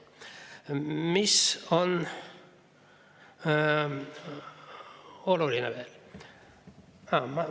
Mis on veel oluline?